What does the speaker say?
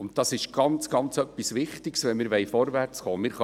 Dies ist ganz wichtig, wenn wir vorwärtskommen wollen.